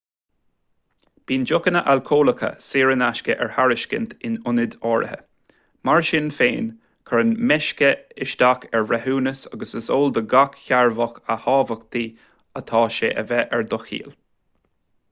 bíonn deochanna alcólacha saor in aisce ar tairiscint in ionaid áirithe mar sin féin cuireann meisce isteach ar bhreithiúnas agus is eol do gach cearrbhach a thábhachtaí atá sé a bheith ar do chiall